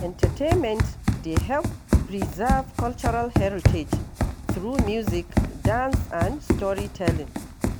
Entertainment dey help preserve cultural heritage through music, dance, and storytelling.